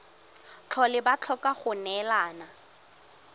tlhole ba tlhoka go neelana